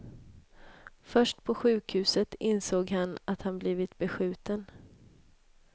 Först på sjukhuset insåg han att han blivit beskjuten.